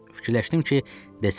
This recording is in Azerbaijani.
Fikirləşdim ki, desəm yaxşıdır.